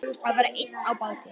Að vera einn á báti